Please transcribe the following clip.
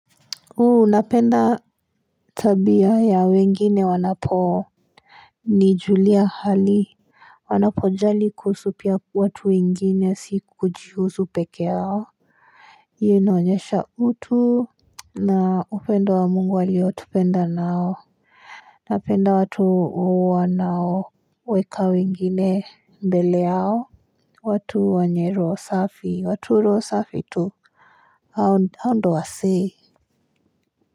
Unapenda tabia ya wengine wanapo nijulia hali wanapojali kuhusu pia watu wengine, si kujihusu peke yao Hii inaonyesha utu na upendo wa Mungu aliotupenda nao Napenda watu wanao weka wengine mbele yao watu wanye roho safi, watu roho safi tu. Hao ndiyo wasee.